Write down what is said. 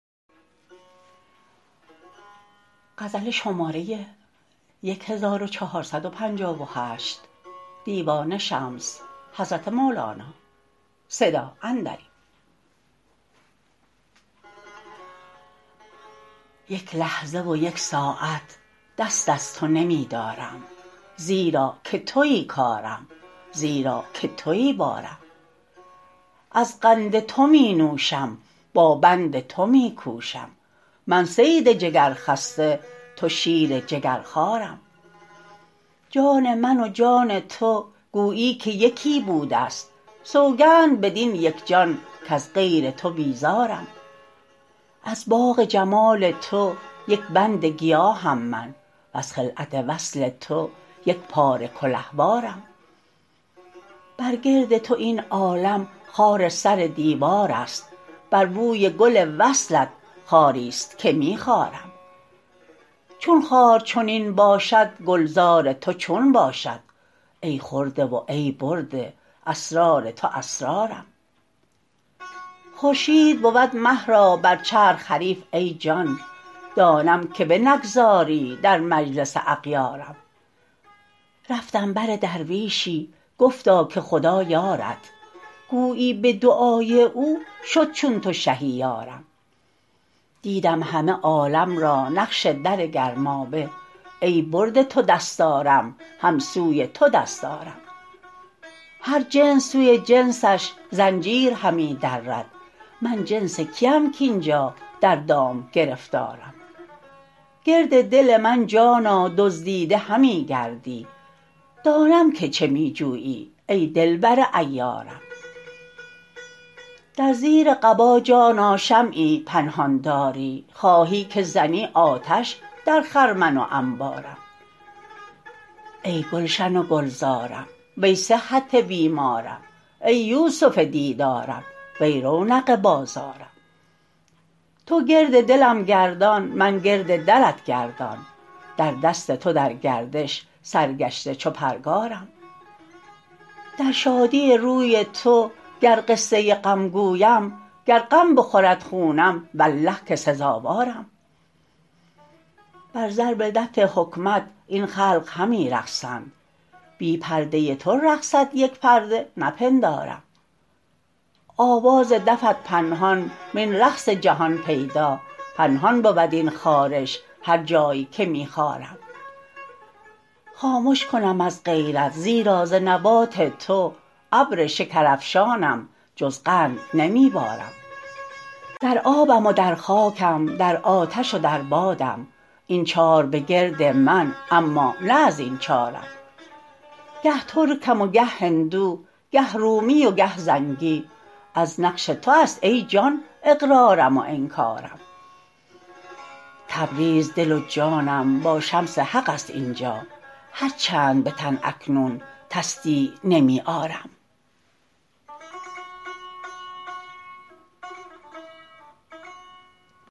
یک لحظه و یک ساعت دست از تو نمی دارم زیرا که توی کارم زیرا که توی بارم از قند تو می نوشم با پند تو می کوشم من صید جگرخسته تو شیر جگرخوارم جان من و جان تو گویی که یکی بوده ست سوگند بدین یک جان کز غیر تو بیزارم از باغ جمال تو یک بند گیاهم من وز خلعت وصل تو یک پاره کلهوارم بر گرد تو این عالم خار سر دیوار است بر بوی گل وصلت خاری است که می خارم چون خار چنین باشد گلزار تو چون باشد ای خورده و ای برده اسرار تو اسرارم خورشید بود مه را بر چرخ حریف ای جان دانم که بنگذاری در مجلس اغیارم رفتم بر درویشی گفتا که خدا یارت گویی به دعای او شد چون تو شهی یارم دیدم همه عالم را نقش در گرمابه ای برده تو دستارم هم سوی تو دست آرم هر جنس سوی جنسش زنجیر همی درد من جنس کیم کاین جا در دام گرفتارم گرد دل من جانا دزدیده همی گردی دانم که چه می جویی ای دلبر عیارم در زیر قبا جانا شمعی پنهان داری خواهی که زنی آتش در خرمن و انبارم ای گلشن و گلزارم وی صحت بیمارم ای یوسف دیدارم وی رونق بازارم تو گرد دلم گردان من گرد درت گردان در دست تو در گردش سرگشته چو پرگارم در شادی روی تو گر قصه غم گویم گر غم بخورد خونم والله که سزاوارم بر ضرب دف حکمت این خلق همی رقصند بی پرده تو رقصد یک پرده نپندارم آواز دفت پنهان وین رقص جهان پیدا پنهان بود این خارش هر جای که می خارم خامش کنم از غیرت زیرا ز نبات تو ابر شکرافشانم جز قند نمی بارم در آبم و در خاکم در آتش و در بادم این چار بگرد من اما نه از این چارم گه ترکم و گه هندو گه رومی و گه زنگی از نقش تو است ای جان اقرارم و انکارم تبریز دل و جانم با شمس حق است این جا هر چند به تن اکنون تصدیع نمی آرم